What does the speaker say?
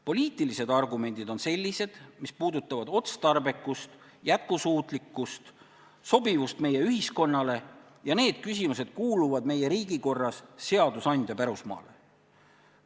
Poliitilised argumendid on sellised, mis puudutavad otstarbekust, jätkusuutlikkust ja sobivust meie ühiskonnale ning need küsimused kuuluvad meie riigikorras seadusandja pärusmaale.